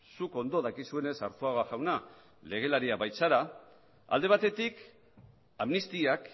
zuk ondo dakizuenez arzuaga jauna legelaria baitzara alde batetik amnistiak